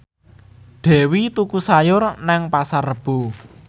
Dewi tuku sayur nang Pasar Rebo